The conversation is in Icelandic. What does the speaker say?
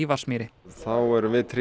Vatnsmýri þá erum